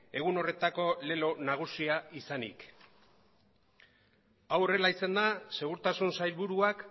egun horretako lelo nagusia izanik hau horrela izanda segurtasun sailburuak